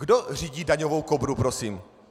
Kdo řídí daňovou Kobru prosím?